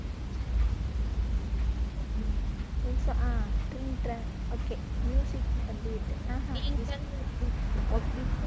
உம் okay வந்து விட்டது okay